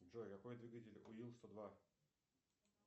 джой какой двигатель у ил сто два